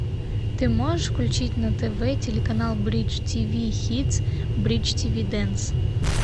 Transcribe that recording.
ты можешь включить на тв телеканал бридж тиви хитс бридж тиви дэнс